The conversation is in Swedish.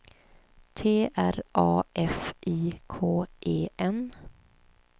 T R A F I K E N